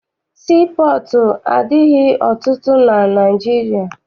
Sii pọọtụ adịghị ọtụtụ na Naịjirịa.